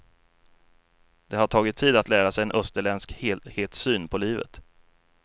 Det har tagit tid att lära sig en österländsk helhetssyn på livet.